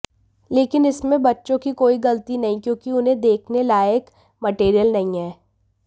लेकिन इसमें बच्चों की कोई गलती नहीं क्योंकि उन्हें देखने लायक मटेरियल नहीं हैं